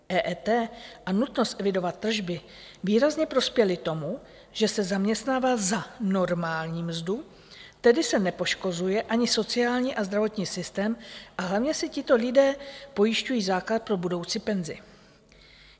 EET a nutnost evidovat tržby výrazně prospěly tomu, že se zaměstnává za normální mzdu, tedy se nepoškozuje ani sociální a zdravotní systém, a hlavně se tito lidé pojišťují základ pro budoucí penzi.